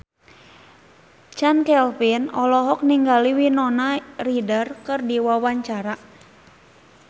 Chand Kelvin olohok ningali Winona Ryder keur diwawancara